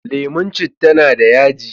lemun citta na da yaji